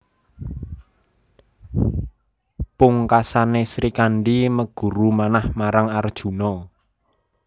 Pungkasané Srikandhi meguru manah marang Arjuna